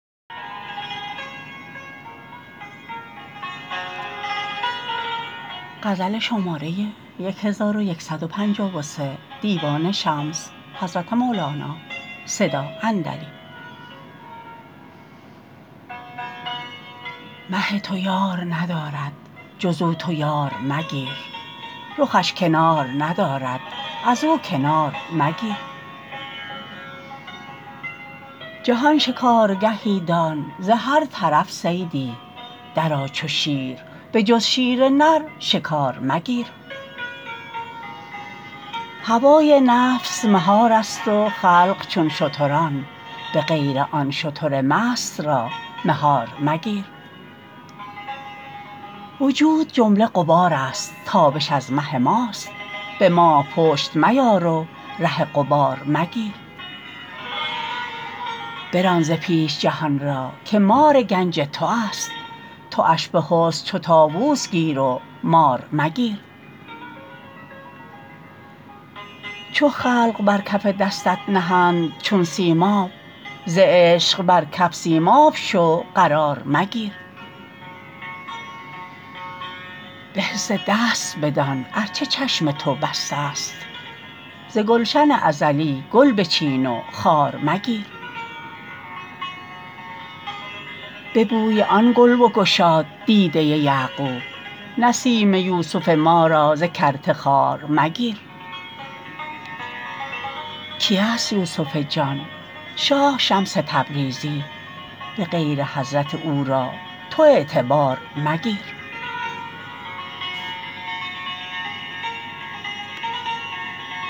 مه تو یار ندارد جز او تو یار مگیر رخش کنار ندارد از او کنار مگیر جهان شکارگهی دان ز هر طرف صیدی درآ چو شیر به جز شیر نر شکار مگیر هوای نفس مهارست و خلق چون شتران به غیر آن شتر مست را مهار مگیر وجود جمله غبارست تابش از مه ماست به ماه پشت میار و ره غبار مگیر بران ز پیش جهان را که مار گنج تواست تواش به حسن چو طاووس گیر و مار مگیر چو خلق بر کف دستت نهند چون سیماب ز عشق بر کف سیماب شو قرار مگیر به حس دست بدان ار چه چشم تو بستست ز گلشن ازلی گل بچین و خار مگیر به بوی آن گل بگشاد دیده یعقوب نسیم یوسف ما را ز کرته خوار مگیر کیست یوسف جان شاه شمس تبریزی به غیر حضرت او را تو اعتبار مگیر